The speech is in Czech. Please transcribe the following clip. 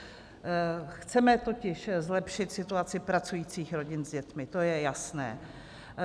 Chceme totiž zlepšit situaci pracujících rodin s dětmi, to je jasné.